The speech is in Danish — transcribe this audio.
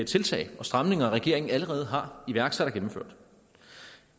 tiltag og stramninger regeringen allerede har iværksat og gennemført